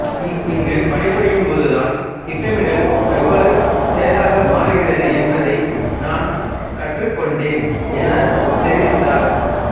இங்கு பணிபுரியும் போதுதான் திட்டமிடல் எவ்வாறு செயலாக மாறுகிறது என்பதை நான் கற்றுக்கொண்டேன் எனத் தெரிவித்தார்